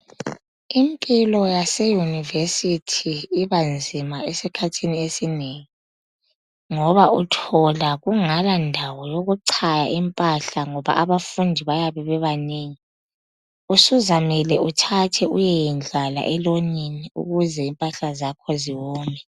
Impilo yaseyunivesithi ibanzima esikhathini esinengi ngoba uthola kungalandawo yokuchaya impahla ngoba abafundi bayabe bebanengi usuzamele uthathe uyeyedlala elonini ukuze impahla zakho ziwome.